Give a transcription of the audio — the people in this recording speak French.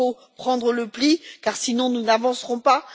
Il faut prendre le pli, sinon nous n'avancerons pas.